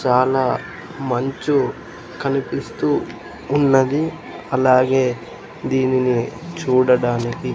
చాలా మంచు కనిపిస్తూ ఉన్నది అలాగే దీనిని చూడడానికి--